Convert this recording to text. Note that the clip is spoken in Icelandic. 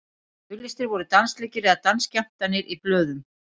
auglýstir voru dansleikir eða dansskemmtanir í blöðum